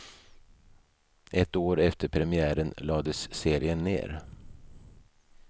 Ett år efter premiären lades serien ned.